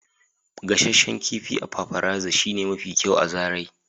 gasasshen kifi a paparazzi shine mafi kyau a zarai.